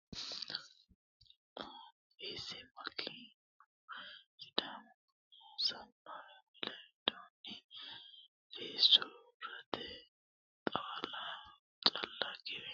Fiissi malkanyu Sidaamu aana assannore Wole widoonni Fiissi urdete xawo calla giwe assootensa diigate wolootu ejjeetto ikkikkinni ayiddu mereerono egennamino ledo assino sharro bacate.